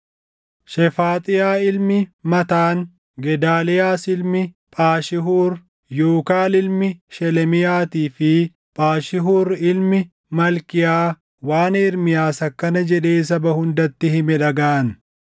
Shefaaxiyaa ilmi Mataan, Gedaaliyaas ilmi Phaashihuur, Yuukaal ilmi Shelemiyaatii fi Phaashihuur ilmi Malkiyaa waan Ermiyaas akkana jedhee saba hundatti hime dhagaʼan;